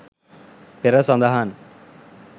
පෙර සදහන්